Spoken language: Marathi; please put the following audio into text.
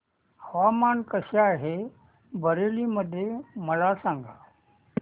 हवामान कसे आहे बरेली मध्ये मला सांगा